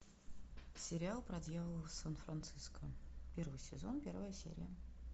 сериал про дьявола в сан франциско первый сезон первая серия